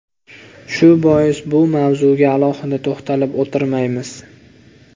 Shu bois bu mavzuga alohida to‘xtalib o‘tirmaymiz.